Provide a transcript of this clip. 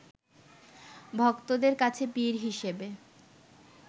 ভক্তদের কাছে পীর হিসেবে